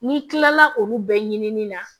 N'i kilala olu bɛɛ ɲinini na